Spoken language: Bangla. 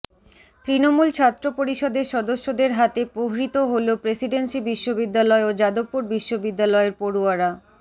তৃণমূল ছাত্র পরিষদের সদ্যসদের হাতে প্রহৃত হল প্রেসিডেন্সি বিশ্ববিদ্যালয় ও যাদবপুর বিশ্ববিদ্যালয়ের পড়ুয়ারা